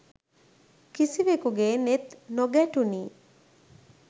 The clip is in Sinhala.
කිසිවෙකුගේ නෙත් නොගැටුනි